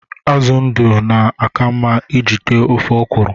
Azụ ndụ na-aka mma iji tee ofe ọkwụrụ